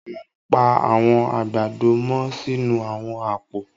À n pa àwọn agbádọ̀ mọ́ sínu àwọn àpò